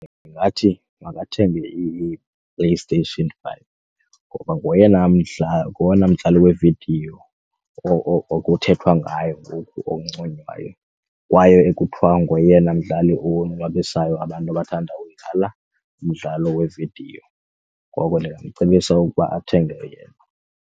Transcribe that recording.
Ndingathi makathenge iPlayStation five ngoba ngoyena ngowona mdlalo wevidiyo okuthethwa ngayo onconywayo kwaye ekuthiwa ngoyena mdlali owonwabisayo abantu abathanda uyidlala umdlalo wevidiyo. Ngoko ndingamcebisa ukuba athenge yena.